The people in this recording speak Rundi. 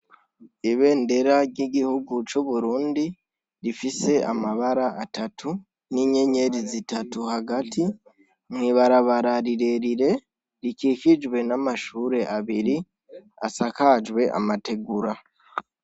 Ibendera ry'igihugu c'Uburundi rifise amabara atatu n'inyenyeri zitatu hagati mw'ibarabara rirerire rikikijwe n'amashure abiri asakajwe n'amategura.